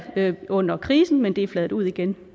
under krisen men det er fladet ud igen